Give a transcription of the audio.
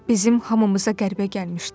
Bizim hamımıza qəribə gəlmişdi.